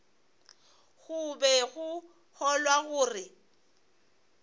go be go kgolwa gore